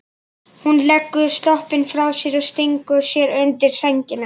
Hún leggur sloppinn frá sér og stingur sér undir sængina.